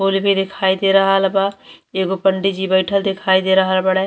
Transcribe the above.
ओर भी दिखाई दे रहल बा। एगो पंडिजी बइठल दिखाई दे रहल बाड़े।